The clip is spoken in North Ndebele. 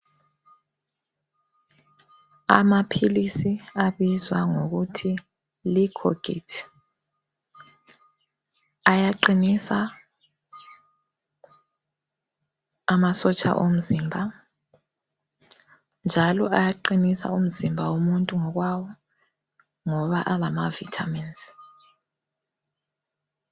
Amaphilisi abizwa ngokuthi licoguit ,ayaqinisa amasotsha omzimba ,njalo ayaqinisa umzimba womuntu ngokwawo ngoba alama Vitamins.